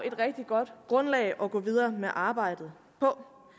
et rigtig godt grundlag at gå videre med arbejdet på